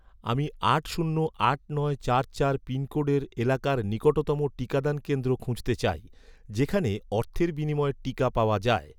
আমি আট শূন্য আট নয় চার চার পিনকোডের এলাকার নিকটতম টিকাদান কেন্দ্র খুঁজতে চাই, যেখানে অর্থের বিনিময়ে টিকা পাওয়া যায়